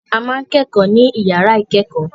A ma ń kẹ́kọ̀ọ́ ní yàrá ìkẹ́kọ̀ọ́.